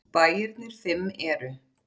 Bæirnir fimm eru